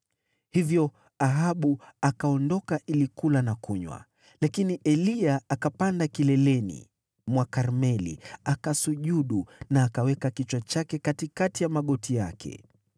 Hivyo Ahabu akaondoka ili kula na kunywa. Lakini Eliya akapanda kileleni mwa Karmeli, akasujudu na akaweka kichwa chake katikati ya magoti yake.